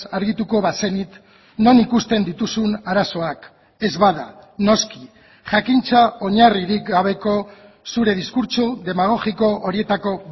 argituko bazenit non ikusten dituzun arazoak ez bada noski jakintza oinarririk gabeko zure diskurtso demagogiko horietako